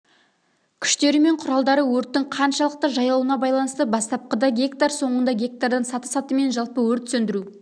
күштері мен құралдары өрттің қаншалықты жайылуына байланысты бастапқыда гектар соңында гектардан саты-сатымен жалпы өрт сөндіру